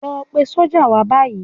Lọ pe sọ́jà báyìí.